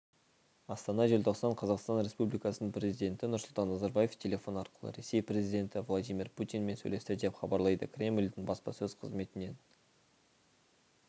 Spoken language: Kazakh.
астана желтоқсан қазақстан республикасының президенті нұрсұлтан назарбаев телефон арқылы ресей президенті владимир путинмен сөйлесті деп хабарлады кремльдің баспасөз қызметінен